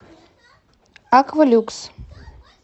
аква люкс